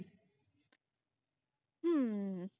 ਹੂ